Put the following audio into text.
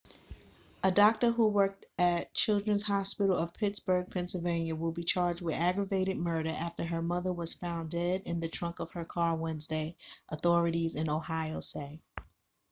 a doctor who worked at children's hospital of pittsburgh pennsylvania will be charged with aggravated murder after her mother was found dead in the trunk of her car wednesday authorities in ohio say